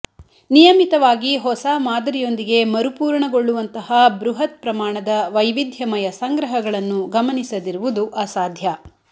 ನಿಯಮಿತವಾಗಿ ಹೊಸ ಮಾದರಿಯೊಂದಿಗೆ ಮರುಪೂರಣಗೊಳ್ಳುವಂತಹ ಬೃಹತ್ ಪ್ರಮಾಣದ ವೈವಿಧ್ಯಮಯ ಸಂಗ್ರಹಗಳನ್ನು ಗಮನಿಸದಿರುವುದು ಅಸಾಧ್ಯ